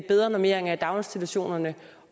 bedre normeringer i daginstitutionerne